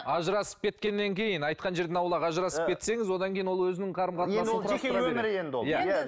ажырасып кеткеннен кейін айтқан жерден аулақ ажырасып кетсеңіз одан кейін ол өзінің қарым қатынасын құрастыра береді өмірі енді ол